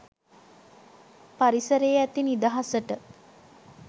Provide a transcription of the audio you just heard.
පරිසරයේ ඇති නිදහසට